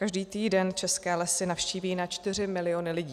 Každý týden české lesy navštíví na čtyři miliony lidí.